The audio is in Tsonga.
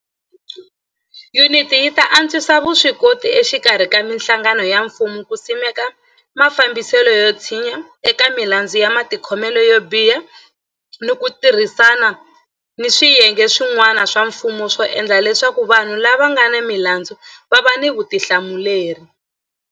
Yuniti yi ta antswisa vuswikoti exikarhi ka mihlangano ya mfumo ku simeka mafambiselo yo tshinya eka milandzu ya matikhomelo yo biha ni ku tirhisana ni swiyenge swi n'wana swa mfumo ku endla leswaku vanhu lava nga ni milandzu va va ni vutihlamuleri.